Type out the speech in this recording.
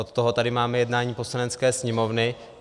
Od toho tady máme jednání Poslanecké sněmovny.